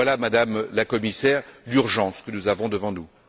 Voilà, Madame la Commissaire, l'urgence que nous avons devant nous.